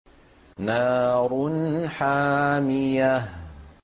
نَارٌ حَامِيَةٌ